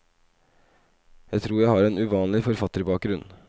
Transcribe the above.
Jeg tror at jeg har en uvanlig forfatterbakgrunn.